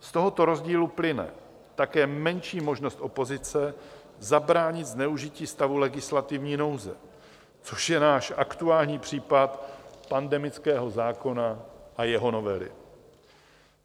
Z tohoto rozdílu plyne také menší možnost opozice zabránit zneužití stavu legislativní nouze, což je náš aktuální případ pandemického zákona a jeho novely.